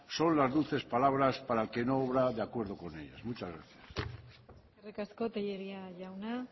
son las dulces palabras para el que no obra de acuerdo con ellos muchas gracias eskerrik asko telleria jauna